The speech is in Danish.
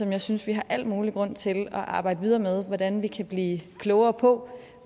jeg synes vi har al mulig grund til at arbejde videre med hvordan vi kan blive klogere på